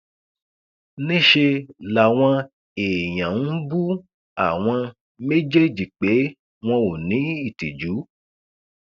níṣẹ làwọn èèyàn ń bú àwọn méjèèjì pé wọn ò ní ìtìjú